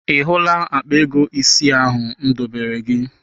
Ị hụla akpa ego isi ahụ m dobere gị?